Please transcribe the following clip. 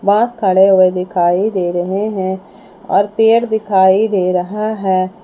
बांस खड़े हुए दिखाई दे रहे हैं और पेड़ दिखाई दे रहें हैं।